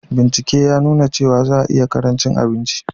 Bincike ya nuna cewa za a iya ƙarancin abinci